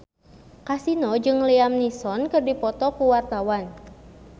Kasino jeung Liam Neeson keur dipoto ku wartawan